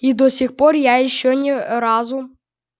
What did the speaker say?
и до сих пор я ещё ни разу